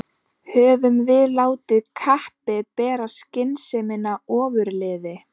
Höfum við látið kappið bera skynsemina ofurliði?